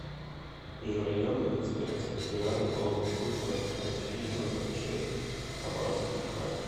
межрайонная инспекция федеральной налоговой службы россии номер шесть по хабаровскому краю